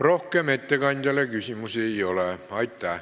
Rohkem ettekandjale küsimusi ei ole.